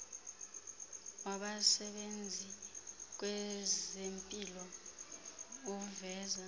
wabasebenzi kwezempilo uveza